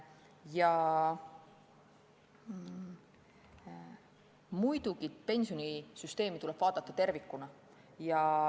Muidugi, pensionisüsteemi tuleb vaadata tervikuna.